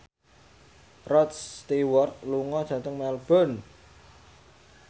Rod Stewart lunga dhateng Melbourne